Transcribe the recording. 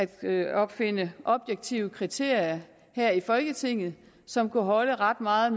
at at opfinde objektive kriterier her i folketinget som kunne holde ret meget